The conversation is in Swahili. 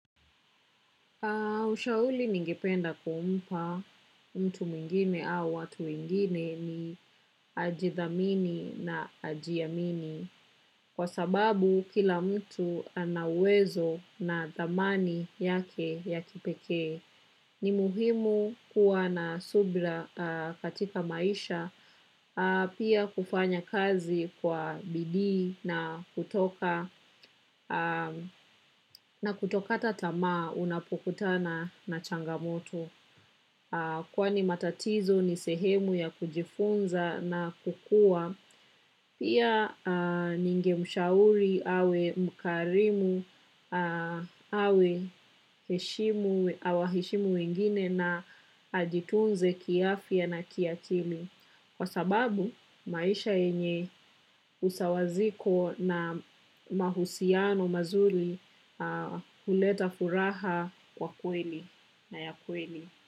Ushauli ningependa kumpa mtu mwingine au watu wengine ni ajithamini na ajiamini. Kwa sababu kila mtu ana uwezo na thamani yake ya kipekee. Ni muhimu kuwa na subra katika maisha pia kufanya kazi kwa bidii na kutoka na kutokata tamaa unapokutana na changamoto. Kwani matatizo ni sehemu ya kujifunza na kukua, pia ningemshauri awe mkarimu awaheshimu wengine na ajitunze kiafya na kiakili. Kwa sababu, maisha yenye usawaziko na mahusiano mazuri huleta furaha kwa kweli na ya kweli.